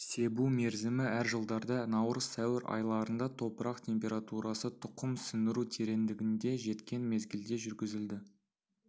себу мерзімі әр жылдарда наурыз сәуір айларында топырақ температурасы тұқым сіңіру тереңдігінде жеткен мезгілде жүргізілді